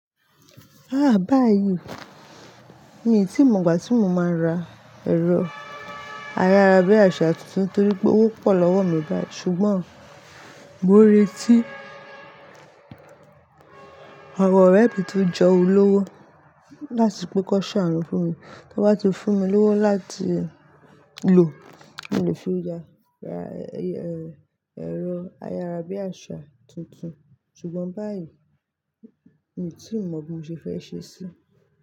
Àh báyìí mi tí mọ̀gbà tí mo máa ra ẹ̀rọ ayára bí àsá tuntun torí pé owó pọ̀ lọ́wọ́ mi báyìí ṣùgbọ́n mo n retí àwọn ọ̀rẹ́ mi ti o jọ olowo láti pe ki won ṣàánú fún mi, tí wọ́n bá ti fún mi lowó láti lò mo le fi ra, ra, ẹ̀rọ ayárabíàsá tuntun ṣùgbọ́n báyìí mii tí mọ bí mo ṣe fẹ́ ṣe sí.